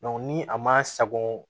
ni a ma sago